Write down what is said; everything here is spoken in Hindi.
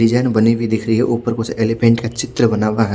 डिजाईन बनी हुई दिख रही है ऊपर कुछ एलीफैंट का चित्र बना हुआ है।